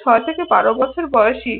ছয় থেকে বারো বছর বয়সী